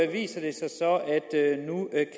viser det sig så